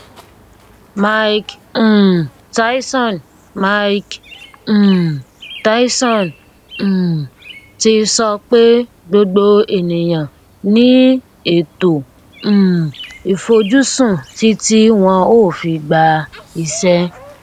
mike um tyson mike um tyson um ti sọ pé gbogbo ènìyàn ní ètò um ìfojúsùn títí wọn ó fi gba ìṣẹ